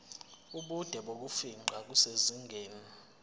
ubude bokufingqa kusezingeni